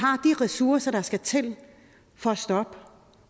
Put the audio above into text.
ressourcer der skal til for at stoppe